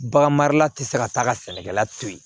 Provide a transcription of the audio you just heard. Bagan marala tɛ se ka taa ka sɛnɛkɛla to yen